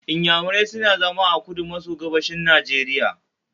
Inyamurai suna zama a kudu maso gabashin Nigeria